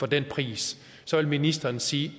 den pris så vil ministeren sige